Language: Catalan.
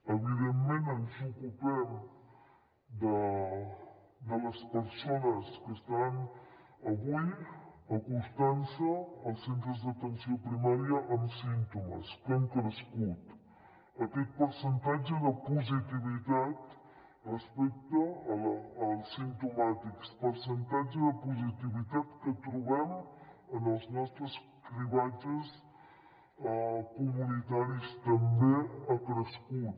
evidentment ens ocupem de les persones que estan avui acostant se als centres d’atenció primària amb símptomes que han crescut aquest percentatge de positivitat respecte als simptomàtics percentatge de positivitat que trobem en els nostres cribatges comunitaris també ha crescut